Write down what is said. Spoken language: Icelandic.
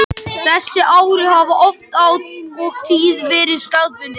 Þessi áhrif hafa oft og tíðum verið staðbundin.